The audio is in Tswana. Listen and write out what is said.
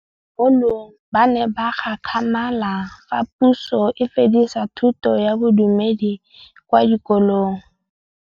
Bagolo ba ne ba gakgamala fa Pusô e fedisa thutô ya Bodumedi kwa dikolong.